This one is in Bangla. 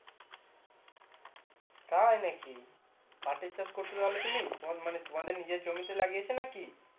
তাইনাকি পাটের চাষ করছো তাহলেএ তুমি তমা মানে এ তোমাদের নিজের জমিতে লাগিয়েছো নাকি?